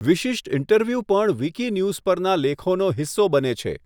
વિશિષ્ટ ઇન્ટરવ્યુ પણ વીકીન્યુઝ પરના લેખોનો હિસ્સો બને છે.